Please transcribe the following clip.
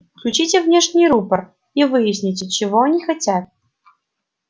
включите внешний рупор и выясните чего они хотят